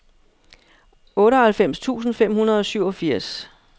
otteoghalvfems tusind fem hundrede og syvogfirs